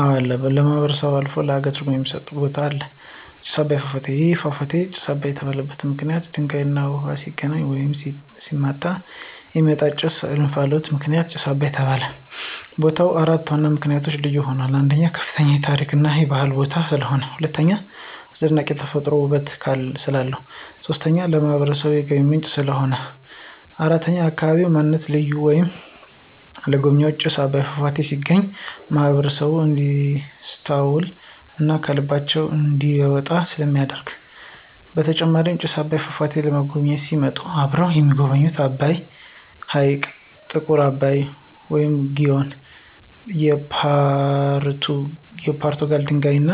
አወ አለ ለማህበረሰቡ አልፎ ለሃገር ትርጉም የሚስጥ ቦታ አለ። ጭስ አባይ ፏፏቴ። ይህ ፏፏቴ ጭስ አባይ የተባለበት ምክንይት ውሃውና ድንጋዩ ሲገናኙ ወይም ሲመታቱ የሚወጣው ጭስ /እንፍሎት ምክንያት ጭስ አባይ ተባለ። ቦታው በአራት ዋነኛ ምክንያቶች ልዩ ይሆናል። 1, ከፍተኛ የታሪክ እና የባህል ቦታ ስለሆነ። 2, አስደናቂ የተፈጥሮ ውበት ስላለው። 3, ለማህበረሰቡ የገቢ ምንጭ ሆኖ በማገልገሉ። 4, የአካባቢ ማንነት ምልክት ወይም ለጎብኝዎች ጭስ አባይ ፏፏቴ ሲጎበኙ ማህበረሰቡን እንዲስታውሱ እና ከልባቸው እንዳይወጣ ስለሚደረግ ነው። በተጨማሪም ጭስ አባይን ፏፏቴን ለመጎብኝት ሲመጡ አብረው የሚጎበኙት አባይ ሕይቅ፣ ጥቁር አባይ ወንዝ(ግዮን) ፣የፖርቱጋል ድልድይ እና